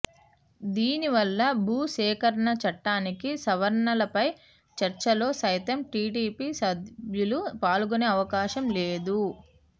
దీని వల్ల భూసేకరణ చట్టానికి సవరణలపై చర్చలో సైతం టిడిపి సభ్యులు పాల్గొనే అవకాశం లేదు